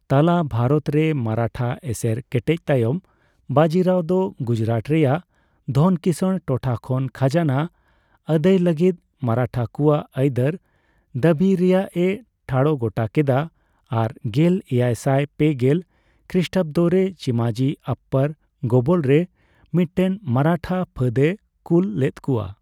ᱛᱟᱞᱟ ᱣᱟᱨᱚᱛ ᱨᱮ ᱢᱟᱨᱟᱴᱷᱟ ᱮᱥᱮᱨ ᱠᱮᱴᱮᱡ ᱛᱟᱭᱚᱢ ᱵᱟᱡᱤᱨᱟᱣ ᱫᱚ ᱜᱩᱡᱨᱟᱴ ᱨᱮᱭᱟᱜ ᱫᱷᱚᱱ ᱠᱤᱥᱟᱹᱲ ᱴᱚᱴᱷᱟ ᱠᱷᱚᱱ ᱠᱷᱟᱡᱱᱟ ᱟᱹᱫᱟᱹᱭ ᱞᱟᱹᱜᱤᱛ ᱢᱟᱨᱟᱴᱷᱟᱠᱩᱣᱟᱜ ᱟᱹᱭᱫᱟᱹᱨ ᱫᱟᱹᱵᱤᱭ ᱨᱮᱭᱟᱜᱮ ᱴᱷᱟᱲ ᱜᱚᱴᱟ ᱠᱮᱫᱟ ᱟᱨ ᱜᱮᱞ ᱮᱭᱟᱭᱥᱟᱭ ᱯᱮᱜᱮᱞ ᱠᱷᱨᱤᱥᱴᱟᱵᱫᱚ ᱨᱮ ᱪᱤᱢᱟᱡᱤ ᱟᱯᱯᱟᱨ ᱜᱚᱵᱚᱞ ᱨᱮ ᱢᱤᱴᱴᱮᱱ ᱢᱟᱨᱟᱴᱷᱟ ᱯᱷᱟᱹᱛᱮ ᱠᱩᱞ ᱞᱮᱛᱠᱩᱣᱟ ᱾